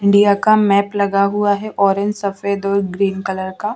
India का map लगा हुआ है ऑरेंज सफेद और ग्रीन कलर का--